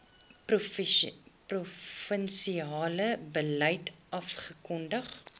provinsiale beleid afgekondig